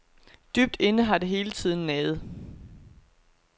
Dybt inde har det hele tiden naget.